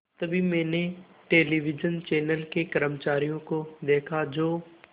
तभी मैंने television channel के कर्मचारियों को देखा जो